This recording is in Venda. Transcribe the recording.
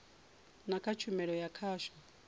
na kha tshumelo ya khasho